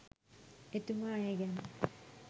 එතුමා ඒ ගැන